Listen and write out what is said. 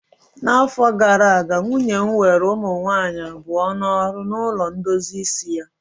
N'afọ gara aga, nwunye m were ụmụ nwanyị abụọ n'ọrụ na ulo ndozi isi ya